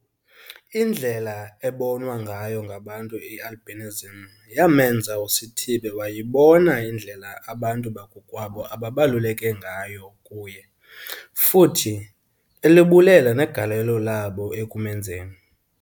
Indlela ebonwa ngayo ngabantu i-albinism yamenza uSithibe wayibona indlela abantu bakowabo ababaluleke ngayo kuye, futhi elibulela negalelo labo ekumenzeni